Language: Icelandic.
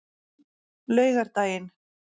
laugardaginn